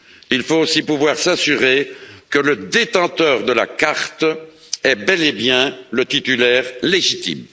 Il faut aussi pouvoir s'assurer que le détenteur de la carte est bel et bien son titulaire légitime.